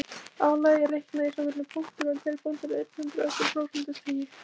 Álagið er reiknað í svokölluðum punktum en hver punktur er einn hundraðasti úr prósentustigi.